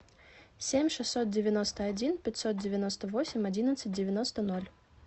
семь шестьсот девяносто один пятьсот девяносто восемь одиннадцать девяносто ноль